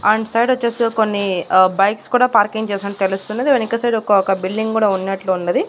And సైడొచ్చేసి కొన్ని ఆ బైక్స్ కూడా పార్కింగ్ చేసట్టు తెలుస్తున్నది వెనుక సైడ్ ఒక ఒక బిల్డింగ్ గూడా ఉన్నట్లున్నది.